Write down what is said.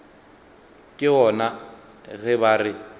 ke gona ge ba re